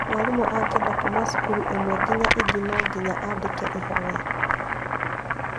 Mwarimũ angĩenda kuma cukuru ĩmwe nginya ĩngĩ no nginya andĩke ihoya